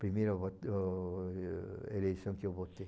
Primeira eleição que eu votei.